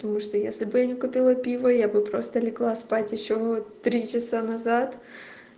потому что если бы я не купила пиво я бы просто легла спать ещё три часа назад